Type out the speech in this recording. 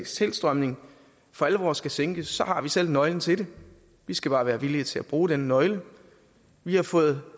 tilstrømning for alvor skal sænkes har vi selv nøglen til det vi skal bare være villige til at bruge den nøgle vi har fået